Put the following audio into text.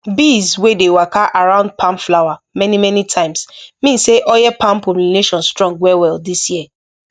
bees wey dey waka around palm flower many many times mean say oil palm pollination strong well well this year